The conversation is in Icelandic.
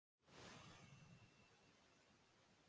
Það er enginn fótur fyrir ásökununum